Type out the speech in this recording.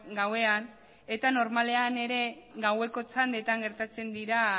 gauean eta normalean ere gaueko txandetan gertatzen dira